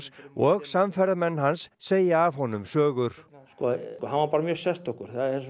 og samferðamenn hans segja af honum sögur sko hann var bara mjög sérstakur